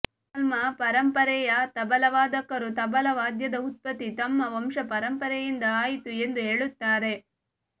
ಮುಸಲ್ಮಾ ಪರಂಪರೆಯ ತಬಲಾವಾದಕರು ತಬಲಾ ವಾದ್ಯದ ಉತ್ಪತ್ತಿ ತಮ್ಮ ವಂಶ ಪರಂಪರೆಯಿಂದ ಆಯಿತು ಎಂದು ಹೇಳುತ್ತಾರೆ